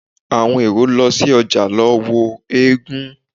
Àwọn èrò lọ sí ojà lọ wo eégún.